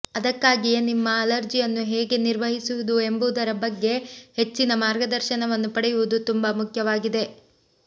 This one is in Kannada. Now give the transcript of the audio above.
ಅದಕ್ಕಾಗಿಯೇ ನಿಮ್ಮ ಅಲರ್ಜಿಯನ್ನು ಹೇಗೆ ನಿರ್ವಹಿಸುವುದು ಎಂಬುದರ ಬಗ್ಗೆ ಹೆಚ್ಚಿನ ಮಾರ್ಗದರ್ಶನವನ್ನು ಪಡೆಯುವುದು ತುಂಬಾ ಮುಖ್ಯವಾಗಿದೆ